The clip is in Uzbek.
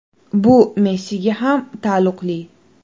Bu Messiga ham taalluqli.